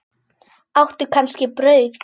Áttu kannski brauð?